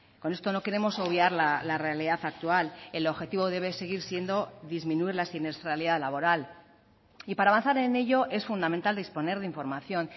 con esto no queremos obviar la realidad actual el objetivo debe seguir siendo disminuir la siniestralidad laboral y para avanzar en ello es fundamental disponer de información